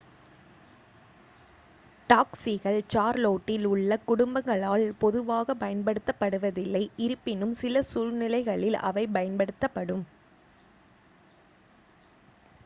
டாக்சிகள் சார்லோட்டில் உள்ள குடும்பங்களால் பொதுவாகப் பயன்படுத்தப்படுவதில்லை இருப்பினும் சில சூழ்நிலைகளில் அவை பயன்படும்